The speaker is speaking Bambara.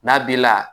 N'a b'i la